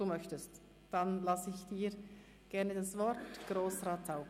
– Sie möchten, dann lasse ich Ihnen gerne das Wort, Grossrat Zaugg.